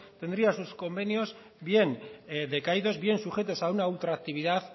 tendrían sus convenios bien decaídos bien sujetos a una ultraactividad